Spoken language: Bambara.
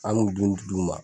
An n'u dun ti d'u ma.